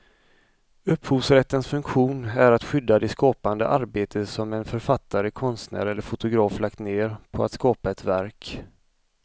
Upphovsrättens funktion är att skydda det skapande arbete som en författare, konstnär eller fotograf lagt ned på att skapa ett verk.